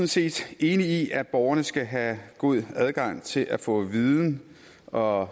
set enig i at borgerne skal have god adgang til at få viden og